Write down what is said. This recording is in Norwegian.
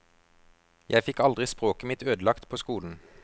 Jeg fikk aldri språket mitt ødelagt på skolen.